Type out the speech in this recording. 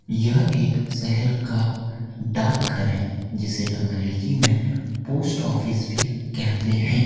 यह एक शहर का डाक घर है जिसे अंग्रेजी में पोस्ट ऑफिस भी कहते हैं।